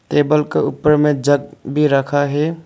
Table क ऊपर में जग भी रखा है।